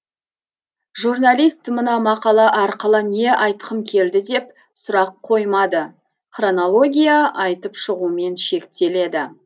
журналист мына мақала арқылы не айтқым келді деп сұрақ қоймады хронология айтып шығумен шектеледі